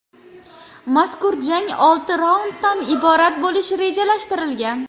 Mazkur jang olti raunddan iborat bo‘lishi rejalashtirilgan.